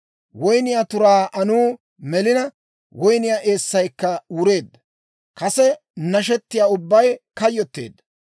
Woynniyaa turaa anuu melina, woyniyaa eessaykka wureedda; kase nashetiyaa ubbay kayyotteedda.